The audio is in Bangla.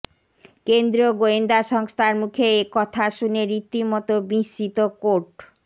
কেন্দ্রীয় গোয়েন্দা সংস্থার মুখে একথা শুনে রীতিমতো বিস্মিত কোর্ট